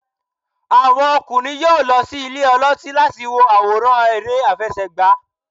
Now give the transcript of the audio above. àwọn okunrin yọọ lo sí ìlè olotí latí wo aworán ère afẹsẹgba.